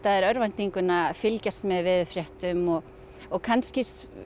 þér örvæntinguna að fylgjast með veðurfréttum og og kannski